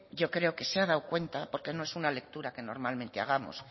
yo creo que se ha dado cuenta porque no es una lectura que normalmente hagamos